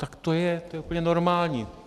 Tak to je, to je úplně normální.